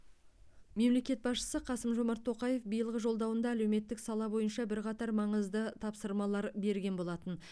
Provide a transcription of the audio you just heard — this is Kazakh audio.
мемлекет басшысы қасым жомарт тоқаев биылғы жолдауында әлеуметтік сала бойынша бірқатар маңызды тапсырмалар берген болатын